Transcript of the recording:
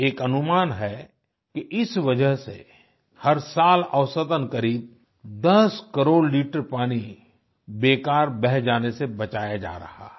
एक अनुमान है कि इस वजह से हर साल औसतन करीब 10 करोड़ लीटर पानी बेकार बह जाने से बचाया जा रहा है